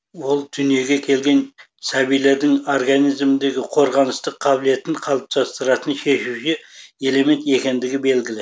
ол дүниеге келген сәбилердің организміндегі қорғаныстық қабілетін қалыптастыратын шешуші элемент екендігі белгілі